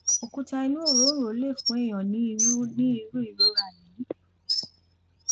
òkúta inú òróǹro lè fún èèyàn ní irú ní irú ìrora yìí